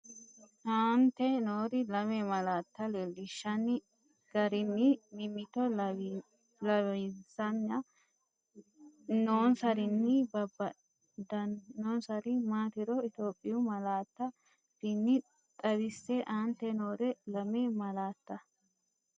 Aante noore lame malaatta leellinshanni garinni mimmito lawisan- nonsarinni babbadannonsari maatiro Itophiyu malaatu afiinni xaw- isse Aante noore lame malaatta.